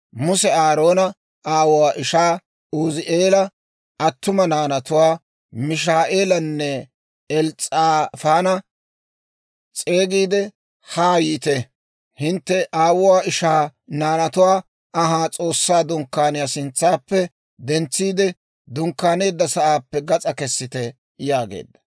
Muse Aaroona aawuwaa ishaa Uzi'eela attuma naanatuwaa, Mishaa'eelanne Els's'aafaana s'eegiide, «Haa yiite; hintte aawuwaa ishaa naanatuwaa anhaa S'oossaa Dunkkaaniyaa sintsaappe dentsiide, dunkkaaneedda sa'aappe gas'aa kessite» yaageedda.